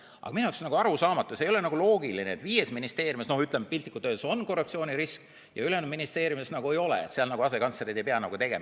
Aga minu jaoks on arusaamatu, see ei ole loogiline, et viies ministeeriumis piltlikult öeldes on korruptsioonirisk ja ülejäänud ministeeriumides ei ole, seal asekantslerid ei pea.